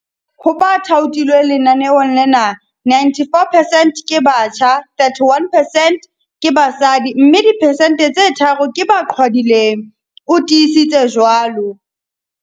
Ho ba thaothilweng lenaneong lena, 94 percent ke batjha, 31 percent ke basadi mme diphesente tse tharo ke ba qhwadileng, o tiisitse jwalo.